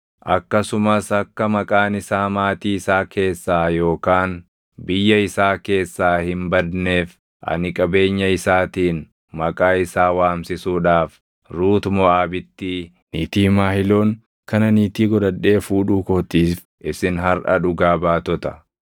Akkasumas akka maqaan isaa maatii isaa keessaa yookaan biyya isaa keessaa hin badneef ani qabeenya isaatiin maqaa isaa waamsisuudhaaf Ruuti Moʼaabittii niitii Mahiloon kana niitii godhadhee fuudhuu kootiif isin harʼa dhugaa baatota!”